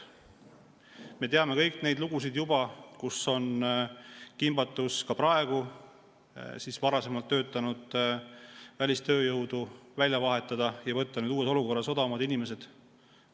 Me teame kõik neid lugusid, et ka praegu on kiusatus varasemalt töötanud välistööjõudu välja vahetada ja võtta nüüd uues olukorras tööle odavamad inimesed.